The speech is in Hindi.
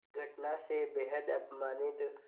इस घटना से बेहद अपमानित